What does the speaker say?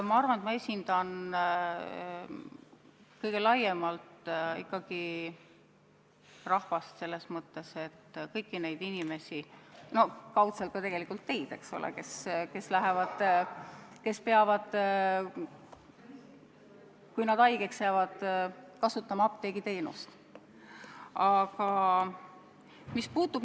Ma arvan, et ma esindan kõige laiemalt ikkagi rahvast, kõiki inimesi – no kaudselt tegelikult ka teid, eks ole –, kes peavad, kui nad haigeks jäävad, kasutama apteegiteenust.